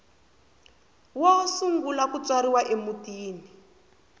wo sungula ku tswariwa emutini